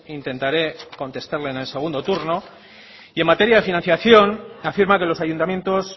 intentaré contestarle en el segundo turno y en materia de financiación afirma que los ayuntamientos